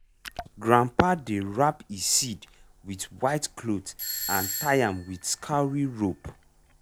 grandpa dey wrap e seed with white cloth and tie am with cowry rope.